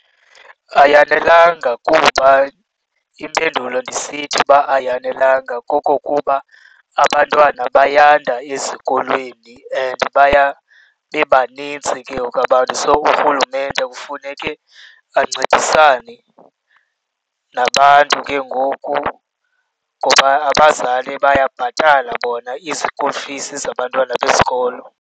Ayanelanga kuba impendulo ndisithi uba ayanelanga kokokuba abantwana bayanda ezikolweni and baya bebanintsi ke ngoku abantu. So, urhulumente kufuneke ancedisane nabantu ke ngoku. Ngoba abazali bayabhatala bona i-school fees zabantwana besikolo.